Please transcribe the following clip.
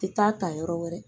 Tɛ taa ta yɔrɔ wɛrɛ